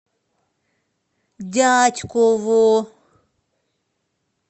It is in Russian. дятьково